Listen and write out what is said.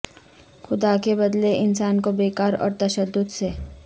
خدا کے بدلے انسان کو بیکار اور تشدد سے